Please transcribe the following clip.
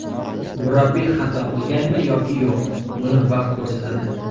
Murabbiy xato qilganmi yoki yo‘q, buni vaqt ko‘rsatadi.